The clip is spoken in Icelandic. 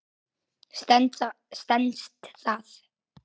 Stenst það?